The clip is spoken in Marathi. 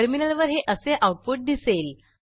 टर्मिनलवर हे असे आऊटपुट दिसेल